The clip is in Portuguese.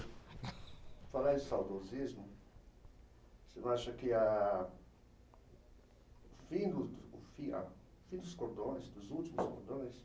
Falar de saudosismo, o senhor acha que a fim do do, o fim a, o fim dos cordões, dos últimos cordões,